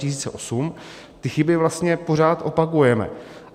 Ty chyby vlastně pořád opakujeme.